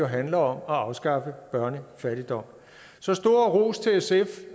handler om at afskaffe børnefattigdom så stor ros til sf